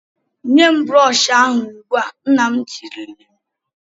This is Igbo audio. "Nye m broshọ ahụ ugbu a! " Nna m tirile m.